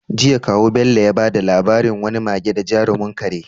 Jiya, kawu Bello ya bada labarin wani mage da jarumin kare.